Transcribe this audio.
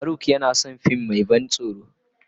Farauk yana son fim mai ban tsoro.